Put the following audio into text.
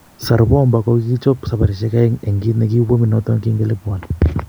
Tsar bomba kogigogichop saparishek oeng en kit negiu pomit noton kin kelipuoni